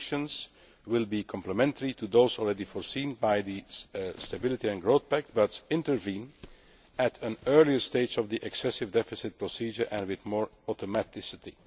The sanctions will be complementary to those already foreseen by the Stability and Growth Pact but intervene at an earlier stage of the excessive deficit procedure and more automatically.